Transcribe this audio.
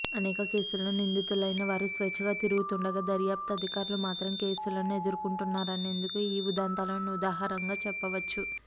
అనేక కేసుల్లో నిందితులైన వారు స్వేచ్ఛగా తిరుగుతుండగా దర్యాప్తు అధికారులు మాత్రం కేసులను ఎదుర్కొంటున్నారనేందుకు ఈ ఉదంతాలను ఉదాహరణగా చెప్పవచ్చు